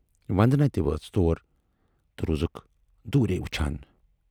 وندنا تہِ وٲژ تور تہٕ روٗزکھ دورے وُچھان۔